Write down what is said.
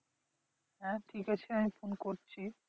হ্যাঁ ঠিক আছে আমি phone করছি